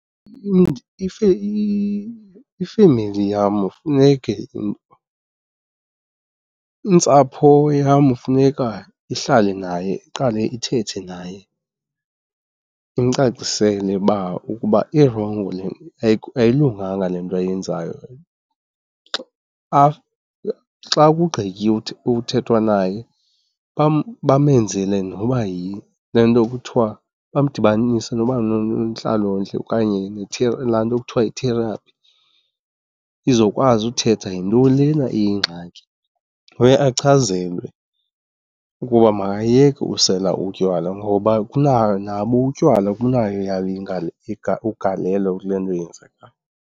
Ifemeli yam funeke, intsapho yam funeka ihlale naye iqale ithethe naye imcacisele ukuba irongo le, ayilunganga le nto ayenzayo. Xa kugqityiwe uthethwa naye bamenzele noba yile nto kuthiwa, bamdibanise noba nonontlalontle okanye laa nto kuthiwa yi-therapy izokwazi uthetha yintoni lena iyingxaki. Uye achazelwe ukuba makayeke usela utywala ngoba nabo utywala kunayo eyayo ugalelo kule nto yenzekayo.